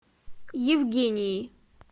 евгении